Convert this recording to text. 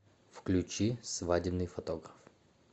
включи свадебный фотограф